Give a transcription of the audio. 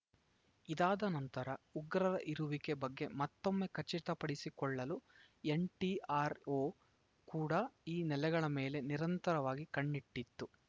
ಇದಾದ ನಂತರ ಉಗ್ರರ ಇರುವಿಕೆ ಬಗ್ಗೆ ಮತ್ತೊಮ್ಮೆ ಖಚಿತಪಡಿಸಿಕೊಳ್ಳಲು ಎನ್‌ಟಿಆರ್‌ಒ ಕೂಡ ಈ ನೆಲೆಗಳ ಮೇಲೆ ನಿರಂತರವಾಗಿ ಕಣ್ಣಿಟ್ಟಿತ್ತು